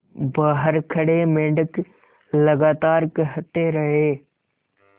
बाहर खड़े मेंढक लगातार कहते रहे